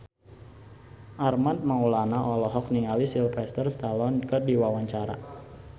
Armand Maulana olohok ningali Sylvester Stallone keur diwawancara